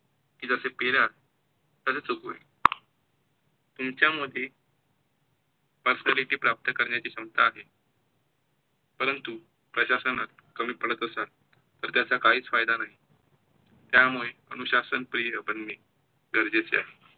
तुमच्यामध्ये Personality प्राप्त करण्याची क्षमता आहे, परंतू प्रजासनात कमी पडतं असाल, तर त्याचा काहीच फायदा नाही. त्यामुळे अनुशासन प्रिय बनणे गरजेचे आहे.